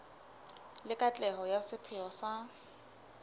le katleho ya sepheo sa